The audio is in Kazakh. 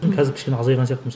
қазір кішкене азайған сияқтымыз